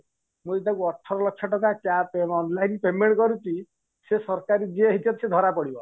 ମୁଁ ଏଇଟାକୁ ଅଠର ଲକ୍ଷ ଟଙ୍କା cash amount payment କରୁଚି ସେ ସରକାର ଯିଏ ହେଇଥିବ ସେ ଧରା ପଡିବ